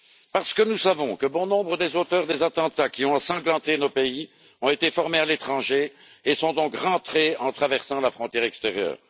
Parce que nous savons que bon nombre des auteurs des attentats qui ont ensanglanté nos pays ont été formés à l'étranger et sont rentrés en traversant la frontière extérieure.